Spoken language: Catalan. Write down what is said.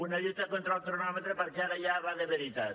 una lluita contra el cronòmetre perquè ara ja va de veritat